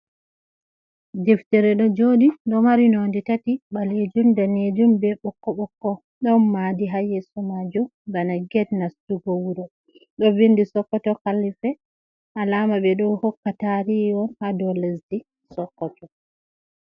Deftire ɗo joɗi ɗo mari nonde tati ɓalejum, be danejum be ɓokko-ɓokko, ɗon madi hayesu majum bana get nastugo wuro ɗo bindi sokkoto kallife alama ɓeɗo hokka tarihi on ha dow lesdi sokkoto.